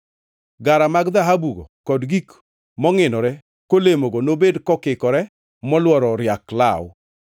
Gara mag dhahabugo kod gik mongʼinore kolemogo nobed kokikore molworo riak law.